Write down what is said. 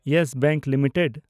Yes Bank limited